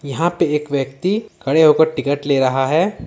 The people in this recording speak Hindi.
यहां पे एक व्यक्ति खड़े होकर टिकट ले रहा है ।